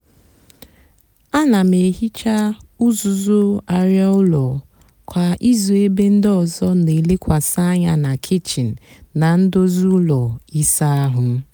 áná m èhicha uzuzu arịa úló kwá ízú ébé ndị ọzọ nà-èlekwasị ányá nà kichin nà ndozi úló ịsá áhụ́.